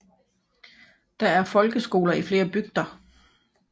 Der er folkeskoler i flere bygder